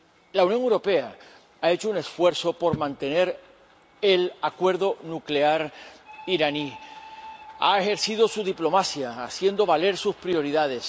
La Unión Europea ha hecho un esfuerzo por mantener el acuerdo nuclear iraní, ha ejercido su diplomacia, haciendo valer sus prioridades.